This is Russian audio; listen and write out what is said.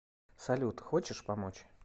салют хочешь помочь